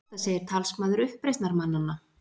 Þetta segir talsmaður uppreisnarmannanna